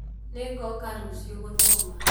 Nĩgoka rũcĩũ gũthoma.